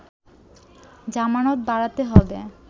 জামানত বাড়াতে হবে